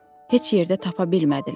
Heç yerdə tapa bilmədilər.